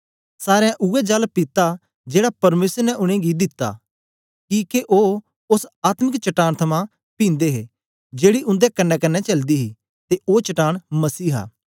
सारें उवै जल पित्ता जेड़ा परमेसर ने उनेंगी दित्ता किके ओ ओस आत्मिक चट्टान थमां पींदे हे जेड़ी उन्दे कन्नेकन्ने चलदी ही ते ओ चट्टान मसीह हा